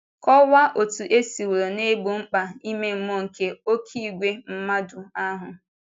Kọwaa otú e siworo na-egbo mkpa ime mmụọ nke “oké ìgwè mmadụ” ahụ.